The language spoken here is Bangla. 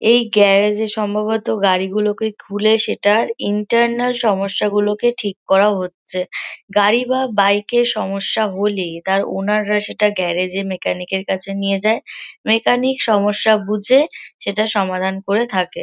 এই গ্যারেজ -এ সম্ভবত গাড়িগুলোকে খুলে সেটার ইন্টারনাল সমস্যাগুলোকে ঠিক করা হচ্ছে । গাড়ি বা বাইক -এ সমস্যা হলে তার ওনার -রা সেটা গ্যারেজ -এ মেকানিক -এর কাছে নিয়ে যায় । মেকানিক সমস্যা বুঝে সেটার সমাধান করে থাকে।